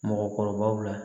Mɔgɔkɔrɔbaw la